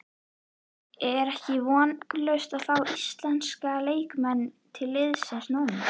Er ekki vonlaust að fá íslenska leikmenn til liðsins núna?